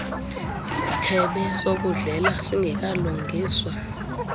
isithebe sokudlela singekalungiswa